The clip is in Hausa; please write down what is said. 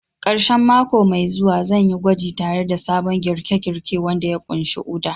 Karshen mako mai zuwa, zan yi gwaji tare da sabon girke-girke wanda ya ƙunshi Uda.